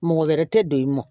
Mɔgɔ wɛrɛ tɛ don i mɔ